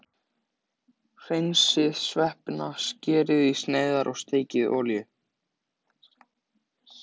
Hreinsið sveppina, skerið í sneiðar og steikið í olíu.